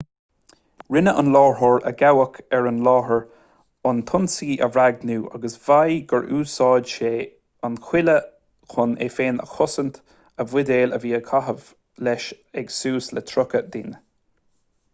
rinne an láithreoir a gabhadh ar an láthair an t-ionsaí a bhréagnú agus mhaígh gur úsáid sé an chuaille chun é féin a chosaint a bhuidéil a bhí á gcaitheamh leis ag suas le tríocha duine